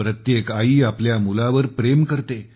प्रत्येक आई आपल्या मुलावर प्रेम करते